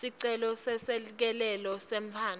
sicelo seselekelelo semntfwana